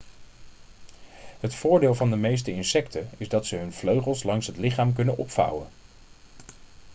het voordeel van de meeste insecten is dat ze hun vleugels langs het lichaam kunnen opvouwen